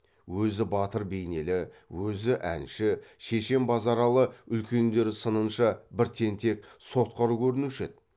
өзі батыр бейнелі өзі әнші шешен базаралы үлкендер сынынша бір тентек сотқар көрінуші еді